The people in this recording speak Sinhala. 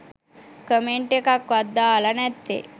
කමෙන්ට් එකක්වත් දාලා නැත්තේ.